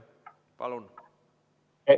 Palun!